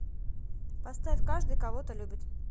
поставь каждый кого то любит